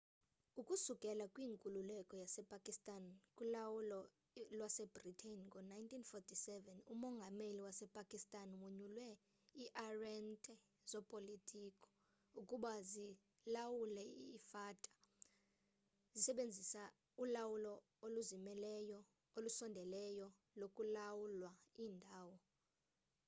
ukusukela kwinkululeko yasepakistan kulawulo lwasebritane ngo-1947 umongameli wasepakistan wonyule ii-arhente zopolitiko ukuba zilawule i-fata zisebenzisa ulawulo oluzimeleyo olusondeleyo lokulawula iindawo